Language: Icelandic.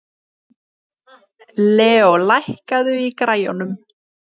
Leo, lækkaðu í græjunum.